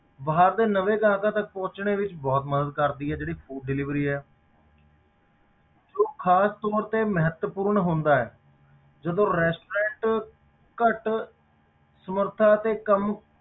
ਬਾਅਦ ਨਵੇਂ ਗਾਹਕਾਂ ਤੱਕ ਪਹੁੰਚਣੇ ਵਿੱਚ ਬਹੁਤ ਮਦਦ ਕਰਦੀ ਹੈ ਜਿਹੜੀ food delivery ਹੈ ਜੋ ਖ਼ਾਸ ਤੌਰ ਤੇ ਮਹੱਤਵਪੂਰਨ ਹੁੰਦਾ ਹੈ ਜਦੋਂ restaurant ਘੱਟ ਸਮਰਥਾ ਅਤੇ ਕੰਮ